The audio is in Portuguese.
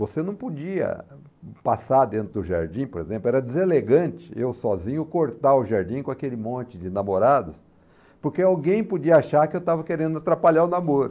Você não podia passar dentro do jardim, por exemplo, era deselegante eu sozinho cortar o jardim com aquele monte de namorados, porque alguém podia achar que eu estava querendo atrapalhar o namoro.